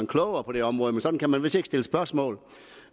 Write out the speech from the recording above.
klogere på det område men sådan kan man vist ikke stille spørgsmål